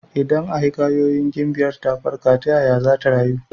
Idan a hikayoyin gimbiyar ta farka, ta yaya zata rayu?